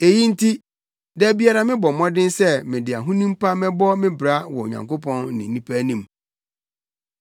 Eyi nti, da biara mebɔ mmɔden sɛ mede ahonim pa bɛbɔ me bra wɔ Onyankopɔn ne nnipa anim.